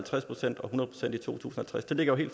halvtreds det ligger jo